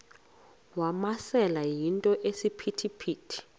wamasele yinto esisiphithi